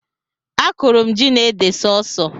Akụrụ m ji na ede sọọsọ